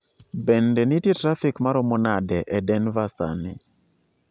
Bende nitie trafik maomo nade e Denver sani?